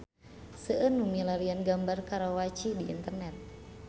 Seueur nu milarian gambar Karawaci di internet